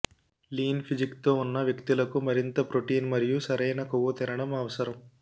lean ఫిజిక్తో ఉన్న వ్యక్తులకు మరింత ప్రోటీన్ మరియు సరైన కొవ్వు తినడం అవసరం